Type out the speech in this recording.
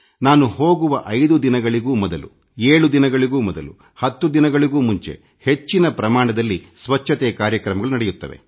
ನಾನು ಹೋಗುವ 5 ದಿನಗಳಿಗೂ ಮೊದಲು 7 ದಿನಗಳಿಗೂ ಮೊದಲು 10 ದಿನಗಳಿಗೆ ಮುಂಚೆ ಹೆಚ್ಚಿನ ಪ್ರಮಾಣದಲ್ಲಿ ಸ್ವಚ್ಛತೆ ಕಾರ್ಯಕ್ರಮಗಳು ನಡೆಯುತ್ತವೆ